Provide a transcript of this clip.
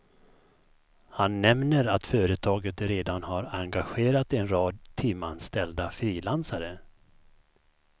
Han nämner att företaget redan har engagerat en rad timmanställda frilansare.